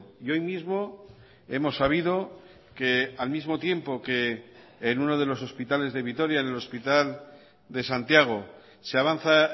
y hoy mismo hemos sabido que al mismo tiempo que en uno de los hospitales de vitoria en el hospital de santiago se avanza